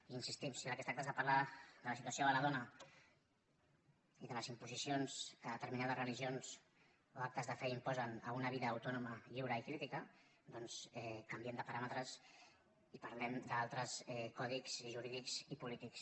i hi insistim si del que es tracta és de parlar de la situació de la dona i de les imposicions que determinades religions o actes de fe imposen a una vida autònoma lliure i crítica doncs canviem de paràmetres i parlem d’altres codis jurídics i polítics